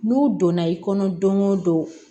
N'u donna i kɔnɔ don o don